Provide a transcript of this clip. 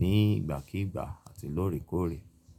ní ìgbàkígbà àti lóòrèkóòrè.